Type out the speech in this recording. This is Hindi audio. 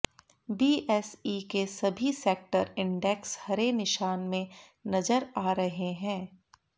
बीएसई के सभी सेक्टर इंडेक्स हरे निशान में नजर आ रहे हैं